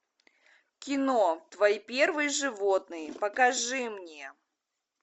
кино твои первые животные покажи мне